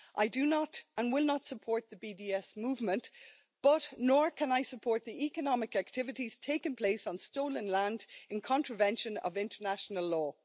I do not, and will not, support the BDS Movement but, nor can I support the economic activities taking place on stolen land in contravention of international law.